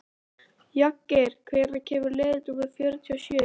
Jagger, hvenær kemur leið númer fjörutíu og sjö?